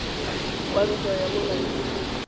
wa ntwa ya mo lapeng